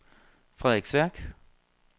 Frederiksværk